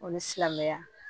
O ni silamɛya